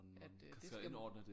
At øh det skal